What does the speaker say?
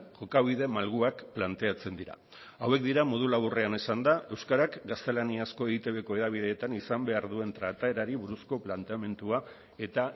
jokabide malguak planteatzen dira hauek dira modu laburrean esanda euskarak gaztelaniazko eitbko hedabideetan izan behar duen trataerari buruzko planteamendua eta